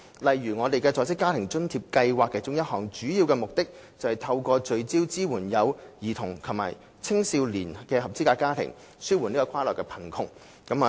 例如，在職家庭津貼計劃其中一個主要目的，是透過聚焦支援有兒童及青少年的合資格家庭，紓緩跨代貧窮。